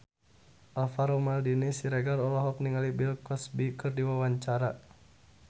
Alvaro Maldini Siregar olohok ningali Bill Cosby keur diwawancara